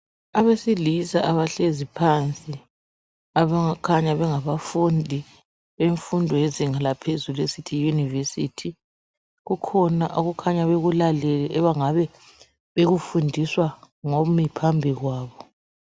Abesilisa abahlezi phansi abakhanya bengabafundi bemfundo yezinga laphezulu esithi yi yunivesithi . Kukhona abakhanya bekulalele abangabe bekufundiswa ngomi phambi kwabo.